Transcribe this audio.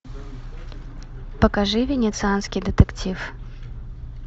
покажи венецианский детектив